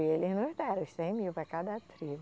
E eles nos deram os cem mil para cada tribo.